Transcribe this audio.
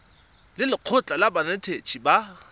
le lekgotlha la banetetshi ba